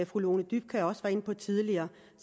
fru lone dybkjær også var inde på tidligere